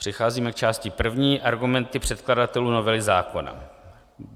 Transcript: Přecházíme k části první - Argumenty předkladatelů novely zákona.